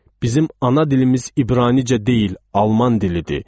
Bizim ana dilimiz İbranicə deyil, Alman dilidir.